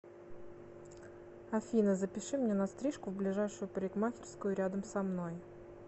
афина запиши меня на стрижку в ближайшую парикмахерскую рядом со мной